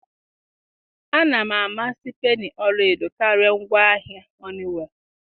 a na m amasị peni ọla edo karịa ngwaahịa Honeywell.